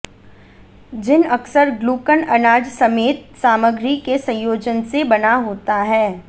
जिन अक्सर ग्लूकन अनाज समेत सामग्री के संयोजन से बना होता है